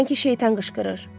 Sanki şeytan qışqırır.